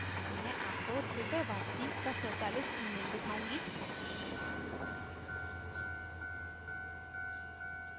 मैं आपको रुपए वापसी का स्वचालित email दिखाउंगी